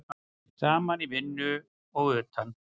Saman í vinnu og utan.